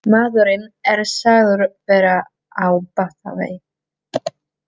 Maðurinn er sagður vera á batavegi